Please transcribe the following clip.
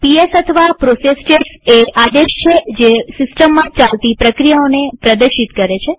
PS અથવા process status એ આદેશ છે જે સિસ્ટમમાં ચાલતી પ્રક્રિયાઓને પ્રદર્શિત કરે છે